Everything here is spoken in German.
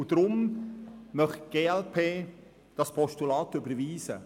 Die glp will dieses Postulat überweisen.